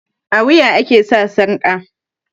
a wuya ake sa sarka